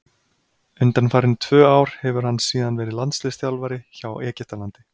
Undanfarin tvö ár hefur hann síðan verið landsliðsþjálfari hjá Egyptalandi.